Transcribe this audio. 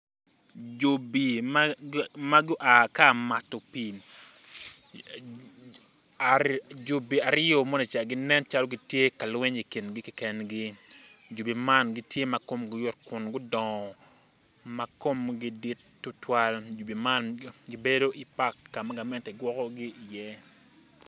Jobi ma gua ka mato pii jobi aryo monica bedo calo gitye ka lweny i kingi kekengi jobi man gitye ma komgi yot kun gudongo ma komgi dit tutwal jobi man gibedo i pak kama gamente gwokogi iye